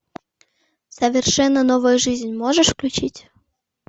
совершенно новая жизнь можешь включить